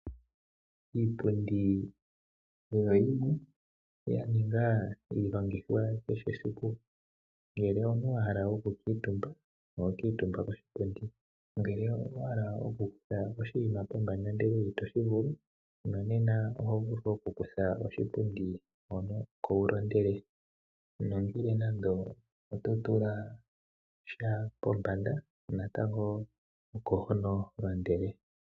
Iipundi oyo yimwe ya ninga iilongithwa yakehe siku. Ngele omuntu wa hala okukuutumba oho kuutumba koshipundi ngele owa hala okukutha oshinima pombanda ndele ito shi vulu nonena oho vulu okukutha oshipundi hono oko wu londele nogele nando oto tula sh pombanda natango hono ho londele.